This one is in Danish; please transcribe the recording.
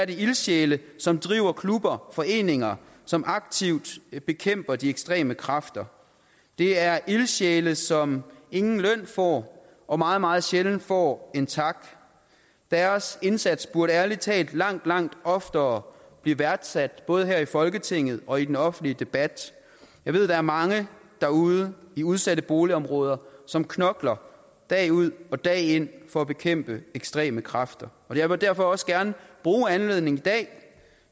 ildsjæle som driver klubber og foreninger som aktivt bekæmper de ekstreme kræfter det er ildsjæle som ingen løn får og meget meget sjældent får en tak deres indsats burde ærlig talt langt langt oftere blive værdsat både her i folketinget og i den offentlige debat jeg ved der er mange derude i udsatte boligområder som knokler dag ud og dag ind for at bekæmpe ekstreme kræfter jeg vil derfor også gerne bruge anledningen i dag